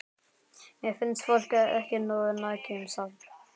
Mér finnst fólk ekki nógu nægjusamt.